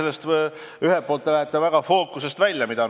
Te lähete väga fookusest välja.